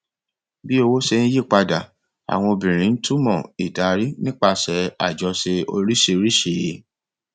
bí owó ṣe ń yí padà àwọn obìnrin ń túmọ ìdarí nípasẹ àjọṣe oríṣìíríṣìí